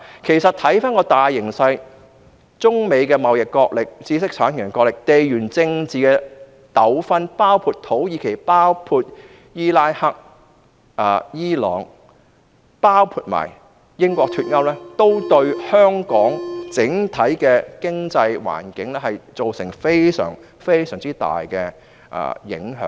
其實，看回大形勢，中美貿易角力、知識產權角力、地緣政治糾紛，包括土耳其、伊拉克、伊朗，以及英國脫歐，均對香港整體經濟環境造成極大影響。